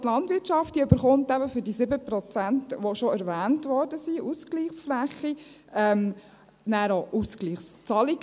Die Landwirtschaft erhält eben für diese 7 Prozent Ausgleichsfläche, die bereits erwähnt wurden, nachher auch Ausgleichszahlungen.